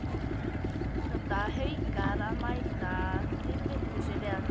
Þangað hljóta Haukar að mæta dýrvitlausir eða hvað?